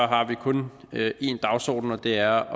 har vi kun én dagsorden og det er